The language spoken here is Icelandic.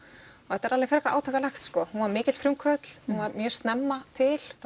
þetta er alveg frekar átakanlegt hún var mikill frumkvöðull hún var mjög snemma til